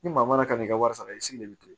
Ni maa mana kan'i ka wari sara i sigi de bɛ to